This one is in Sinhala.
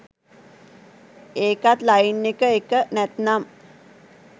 ඒකත් ලයින් එක එක! නැත්නම්